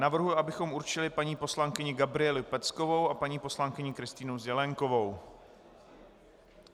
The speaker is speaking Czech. Navrhuji, abychom určili paní poslankyni Gabrielu Peckovou a paní poslankyni Kristýnu Zelienkovou.